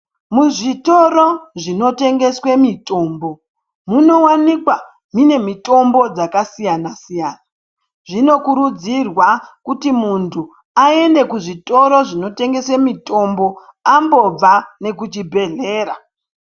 Muzvitoro zvinotengeswe mitombo munowanikwa mune mitombo dzakasiyana-siyana, zvinokurudzirwa kuti muntu aende muzvitoro zvinotengese mitombo ambobva nemucvibhedhlera.